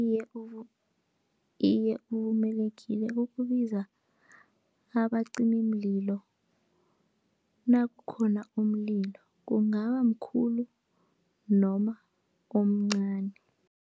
Iye, iye, uvumelekile ukubiza abacimimlilo nakukhona umlilo, kungaba mkhulu noma omncani.